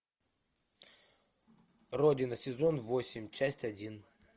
родина сезон восемь часть один